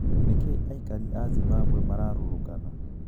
Nikii aikari aa Zimbabwe mararurũgana?